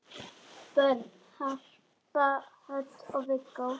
Börn: Harpa Hödd og Viggó.